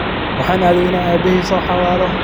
Waxan aade ina Abahey soohawalo.